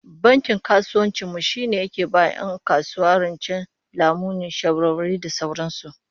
Bankin kasuwancin mu shine yake ba 'yan kasuwa rance, lamuni, shawarwari da sauran su